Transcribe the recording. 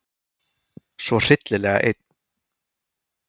Svo hryllilega einn.